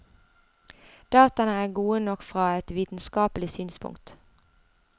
Dataene er gode nok fra et vitenskapelig synspunkt.